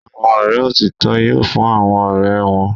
Àwọn ọ̀rẹ́ òtítọ́ yoo fún àwọn ọ̀rẹ́ wọn.